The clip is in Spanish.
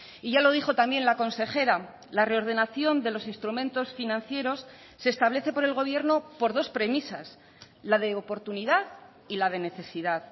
y ya lo dijo también la consejera la reordenación de los instrumentos financieros se establece por el gobierno por dos premisas la de oportunidad y la de necesidad